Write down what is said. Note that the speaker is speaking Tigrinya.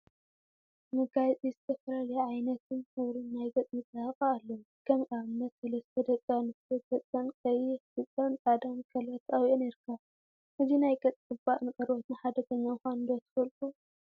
መጋየፂ ዝተፈላለዩ ዓይነትን ሕብሪን ናይ ገፅ መፀባበቂ አለው፡፡ ከም አብነት ሰለስተ ደቂ አንስትዮ ገፀን ቀይሕ፣ ብፃን ፃዐዳን ከለር ተቀቢአን ይርከባ፡፡ እዚ ናይ ገፅ ዝቅባእ ንቆርበትና ሓደገኛ ምኳኑ ዶ ትፈልጡ?